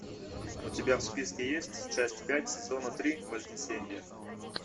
у тебя в списке есть часть пять сезона три вознесение